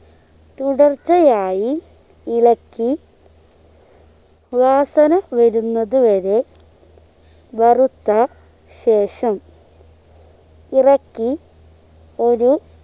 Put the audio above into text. തുടർച്ചയായി ഇളക്കി വാസന വരുന്നത് വരെ വറുത്ത ശേഷം ഇറക്കി ഒരു